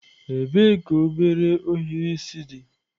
Ebee ka obere ohiri isi dị?